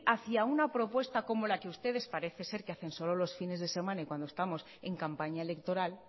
hacia una propuesta como la que ustedes parece ser que hacen solo los fines de semana y cuando estamos en campaña electoral